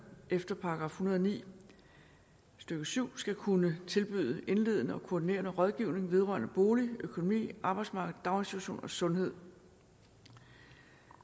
efter § en hundrede og ni stykke syv skal kunne tilbyde indledende og koordinerende rådgivning vedrørende bolig økonomi arbejdsmarked daginstitution og sundhed